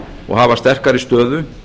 og hafa sterkari stöðu